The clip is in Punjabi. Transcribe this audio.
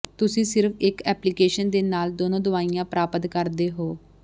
ਤੁਸੀਂ ਸਿਰਫ ਇੱਕ ਐਪਲੀਕੇਸ਼ਨ ਦੇ ਨਾਲ ਦੋਨੋ ਦਵਾਈਆਂ ਪ੍ਰਾਪਤ ਕਰਦੇ ਹੋ